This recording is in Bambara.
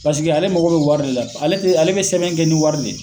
Paseke ale mago be wari de la ale te ale be sɛbɛn kɛ ni wari de ye